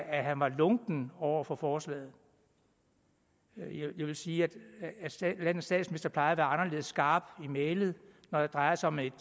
at han var lunken over for forslaget jeg vil sige at landets statsminister plejer at være anderledes skarp i mælet når det drejer sig om et